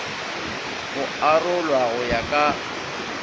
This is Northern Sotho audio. go arolwa go ya ka